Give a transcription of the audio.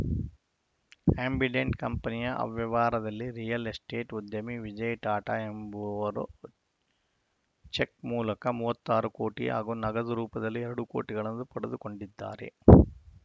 Ambidant ಕಂಪೆನಿಯ ಅವ್ಯವಹಾರದಲ್ಲಿ real estate ಉದ್ಯಮಿ ವಿಜಯ್‌ ಟಾಟಾ ಎಂಬುವವರು ಚೆಕ್‌ ಮೂಲಕ ಮೂವತ್ತ್ ಆರು ಕೋಟಿ ಹಾಗೂ ನಗದು ರೂಪದಲ್ಲಿ ಎರಡು ಕೋಟಿಗಳನ್ನು ಪಡೆದುಕೊಂಡಿದ್ದಾರೆ